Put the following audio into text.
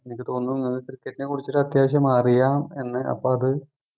എനിക്ക് തോന്നുന്നു എനിക്ക് cricket നെ കുറിച്ചിട്ട് അത്യാവശ്യം അറിയാം എന്ന് അപ്പം അത്